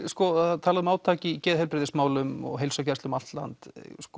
það er talað um átak í geðheilbrigðismálum og heilsugæslu um allt land